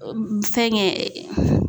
Fɛnkɛ